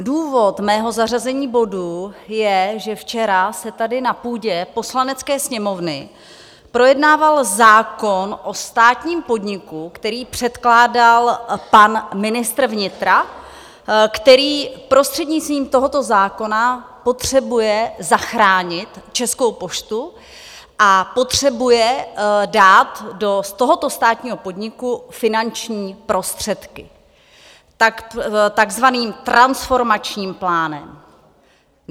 Důvod mého zařazení bodu je, že včera se tady na půdě Poslanecké sněmovny projednával zákon o státním podniku, který předkládal pan ministr vnitra, který prostřednictvím tohoto zákona potřebuje zachránit Českou poštu a potřebuje dát do tohoto státního podniku finanční prostředky takzvaným transformačním plánem.